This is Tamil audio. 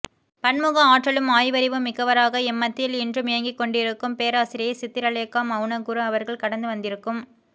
பன்முக ஆற்றலும் ஆய்வறிவும் மிக்கவராக எம்மத்தியில் இன்றும் இயங்கிக்கொண்டிருக்கும் பேராசிரியை சித்திரலேகா மௌனகுரு அவர்கள் கடந்து வந்திருக்கும்